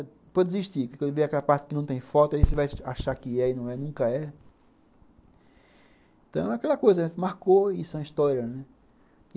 Depois eu desisti, porque quando vê aquela parte que não tem foto, aí você vai achar que é e não é, nunca é. Então é aquela coisa, marcou, isso é uma história, né?